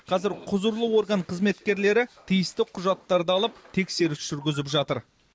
қазір құзырлы орган қызметкерлері тиісті құжаттарды алып тексеріс жүргізіп жатыр